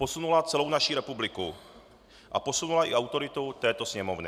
Posunula celou naši republiku a posunula i autoritu této Sněmovny.